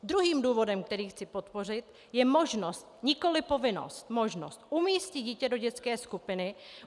Druhým důvodem, který chci podpořit, je možnost, nikoli povinnost, možnost umístit dítě do dětské skupiny.